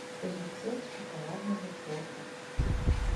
рецепт шоколадного торта